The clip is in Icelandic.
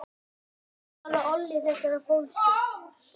Hvað olli þessari fólsku?